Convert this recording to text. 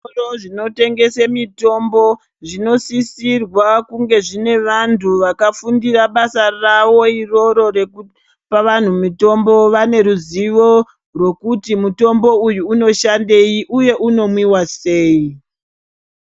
Zvitoro zvinotengese mitombo zvinosisirwa kunge zvine vantu vakafundira basa ravo iroro rekupa vantu mitombo, vaneruzivo rwokuti mutombo uyu unoshandei uye unomwiwa sei.